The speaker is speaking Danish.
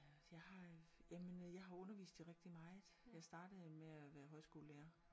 Øh jeg har øh jamen jeg har undervist i rigtig meget jeg startede jo med at være højskolelærer